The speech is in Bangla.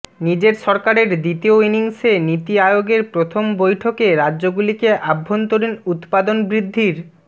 নিজের সরকারের দ্বিতীয় ইনিংসে নীতি আয়োগের প্রথম বৈঠকে রাজ্যগুলিকে অভ্যন্তরীণ উৎপাদন বৃদ্ধির